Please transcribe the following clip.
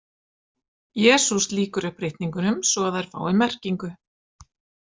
Jesús lýkur upp ritningunum svo að þær fá merkingu.